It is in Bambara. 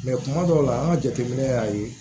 kuma dɔw la an ka jateminɛ y'a ye